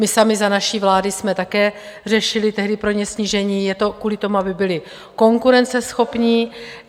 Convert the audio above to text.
My sami za naší vlády jsme také řešili tehdy pro ně snížení, je to kvůli tomu, aby byli konkurenceschopní.